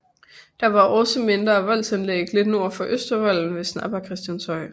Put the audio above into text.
Der var også mindre voldanlæg lidt nord for Østervolden ved Snap og Christianshøj